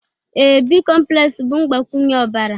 ee, bicomplex bụ mgbakwunye ọbara